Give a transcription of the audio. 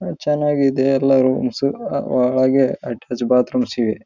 ಬಂದ್ಮೇಲೆ ಅವರೊಂದಿಷ್ಟು ಕೂತ್ಕೊಂಡು ಬಾಲ್ಕನಿ ಹತ್ರ ಇನ್ಡ್ಸ್ವಪ್ಲ ರ ರ ರೆಸ್ಟ್ ತಗೋಬೇಕು ಅಂತೀರ್ತರ.